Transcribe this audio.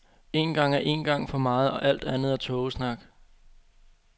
Én gang er én gang for meget, og alt andet er tågesnak.